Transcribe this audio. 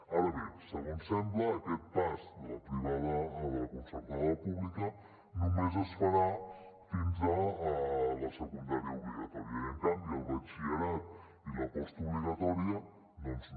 ara bé segons sembla aquest pas de la privada a la concertada pública només es farà fins a la secundària obligatòria i en canvi el batxillerat i la postobligatòria doncs no